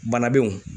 Bana bew